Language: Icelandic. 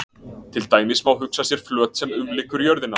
Til dæmis má hugsa sér flöt sem umlykur jörðina.